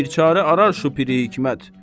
Bir çarə arar şu piri hikmət.